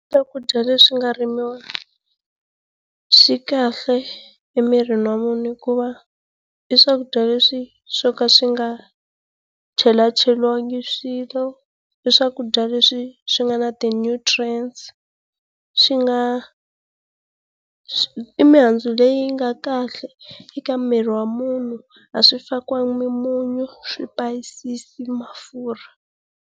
Swakudya leswi nga rimiwa swi kahle emirini wa munhu hikuva i swakudya leswi swo ka swi nga chelacheliwanga swilo, i swakudya leswi swi nga na ti nutrients, swi nga, i mihandzu leyi nga kahle eka miri wa munhu. A swi fakiwanga mimunyu, swipayisisi, mafurha.